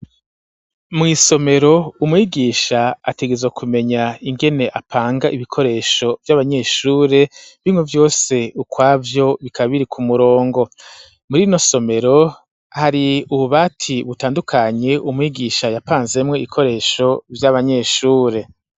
Mw'isomero umwigisha atigezwe kumenya ingene apanga ibikoresho vy'abanyeshure bimwe vyose ukwavyo bikabiri ku murongo muri no somero hari ububati butandukanye umwigisha yapanzemwe ikoresho vy'abanyeshure.